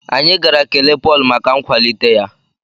Anyị gara kelee Pọl maka nkwalite ya